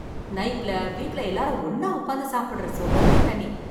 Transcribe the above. நைட்ல வீட்ல எல்லாரும் ஒண்ணா உக்காந்து சாப்பிடுற சுகமே தனி